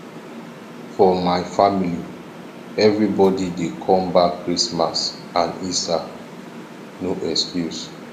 for my family everbodi dey come back christmas and easter no excuse